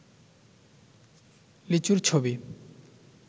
লিচুর ছবি